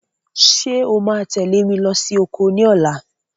Ṣé o máa tẹ̀lé mi lọ sí oko ní ọ̀la?